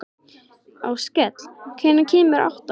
Áskell, hvenær kemur áttan?